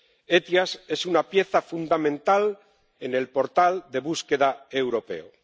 El SEIAV es una pieza fundamental en el portal de búsqueda europeo.